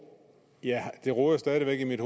gør i